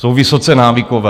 Jsou vysoce návykové.